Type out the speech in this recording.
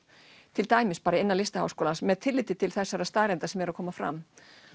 til dæmis innan LHÍ með tilliti til þeirra staðreynda sem eru að koma fram